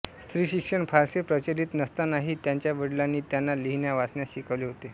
स्त्रीशिक्षण फारसे प्रचलित नसतानाही त्यांच्या वडिलांनी त्यांना लिहिण्यावाचण्यास शिकवले होते